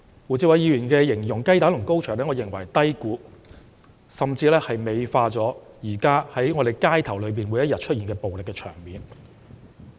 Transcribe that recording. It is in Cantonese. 我認為胡志偉議員以雞蛋與高牆來比擬是低估、甚至美化現時每天在香港街頭上演的暴力場面。